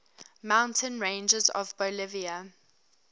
mountain ranges of bolivia